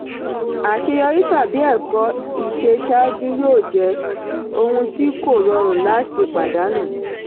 àṣeyọrí tàbí ẹ̀kọ́ ìṣe ṣáájú yóò jẹ́ ohun tí kò rọrùn láti pàdánù.